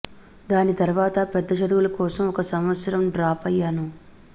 దాని తర్వాత పెద్ద చదువుల కోసం ఒక సంవత్సరం డ్రాప్ అయ్యాను